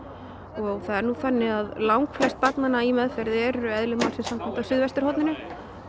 og það er nú þannig að langflest barnanna eru eðli málsins samkvæmt á suðvesturhorninu